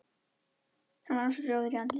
Hann var ansi rjóður í andliti.